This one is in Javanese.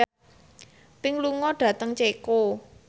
Pink lunga dhateng Ceko